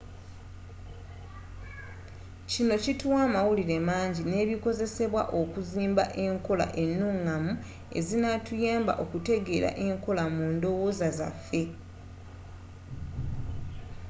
kino kituwa amawulire mangi nebikozesebwa okuzimba enkola enungamu ezinatuyamba okutegeera enkola mundowooza zaffe